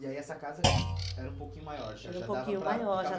E aí essa casa era um pouquinho maior, já já dava para ficar... Era um pouco maior já